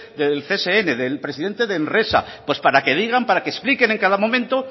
del csn del presidente de enresa pues para que digan para que expliquen en cada momento